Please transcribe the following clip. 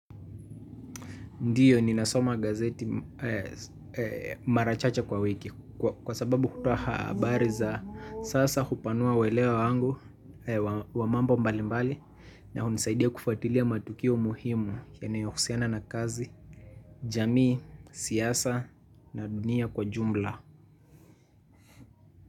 Ndiyo ninasoma gazeti mara chache kwa wiki kwa sababu hutoa habari za sasa hupanua uelewa wangu wa mambo mbali mbali na hunisaidia kufuatilia matukio muhimu yanayohusiana na kazi, jamii, siasa na dunia kwa jumla.